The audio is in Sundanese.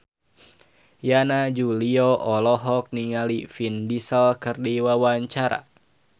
Yana Julio olohok ningali Vin Diesel keur diwawancara